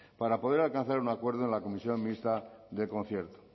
para poder alcanzar un acuerdo en la comisión mixta del concierto